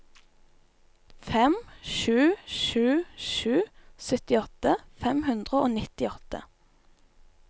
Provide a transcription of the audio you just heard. fem sju sju sju syttiåtte fem hundre og nittiåtte